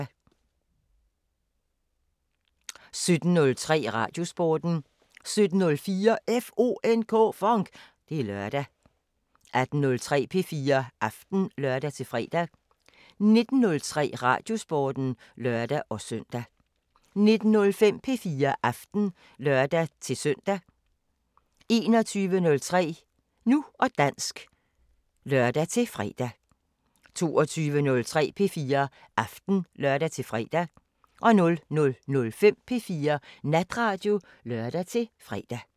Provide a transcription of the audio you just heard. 17:03: Radiosporten 17:04: FONK! Det er lørdag 18:03: P4 Aften (lør-fre) 19:03: Radiosporten (lør-søn) 19:05: P4 Aften (lør-søn) 21:03: Nu og dansk (lør-fre) 22:03: P4 Aften (lør-fre) 00:05: P4 Natradio (lør-fre)